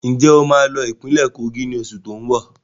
Ń jẹ́ ó sì máa lọ ìpínlẹ́ Kogi ni oṣù tóun bọ̀?